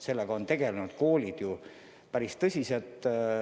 Sellega on koolid päris tõsiselt tegelenud.